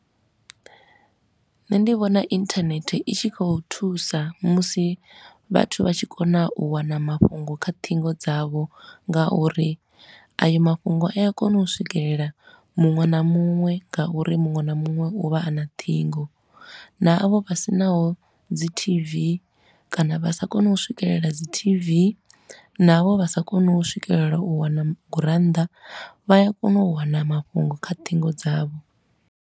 Nṋe ndi vhona internet i tshi khou thusa musi vhathu vha tshi kona u wana mafhungo kha ṱhingo dzavho nga uri ayo mafhungo a ya kona u swikelela muṅwe na muṅwe nga uri muṅwe na muṅwe u vha a na ṱhingo. Na avho vha sinaho dzi t-v kana vha sa koni u swikelela dzi T_V na avho vha sa koni u swikelela u wana gurannḓa, vha ya kona u wana mafhungo kha ṱhingo dzavho.